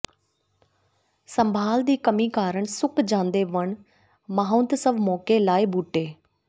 ਸੰਭਾਲ ਦੀ ਕਮੀ ਕਾਰਨ ਸੁੱਕ ਜਾਂਦੇ ਵਣ ਮਹਾਂਉਤਸਵ ਮੌਕੇ ਲਾਏ ਬੂਟੇ